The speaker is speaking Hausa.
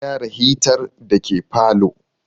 An gyara hitar da ke parlour